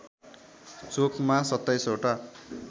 चोकमा २७ वटा